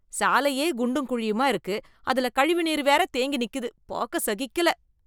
சாலையே குண்டும் குழியுமா இருக்கு, அதுல கழிவு நீர் வேற தேங்கி நிக்கிது, பாக்க சகிக்கல.